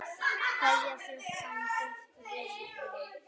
Kveðja, þinn frændi Friðrik Jónas.